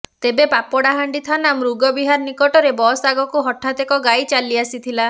ତେବେ ପାପଡ଼ାହାଣ୍ଡି ଥାନା ମୃଗ ବିହାର ନିକଟରେ ବସ୍ ଅଗକୁ ହଠାତ ଏକ ଗାଈ ଚାଲି ଆସିଥିଲା